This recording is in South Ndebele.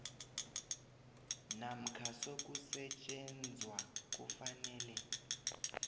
namkha sokusetjenzwa kufanele